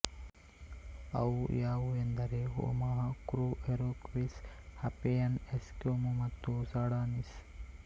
ಅವು ಯಾವುವೆಂದರೆ Omaha Crow Iroquois Hawaiian Eskimo ಮತ್ತು ಸೂಡಾನೀಸ್